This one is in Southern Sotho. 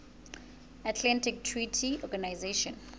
atlantic treaty organization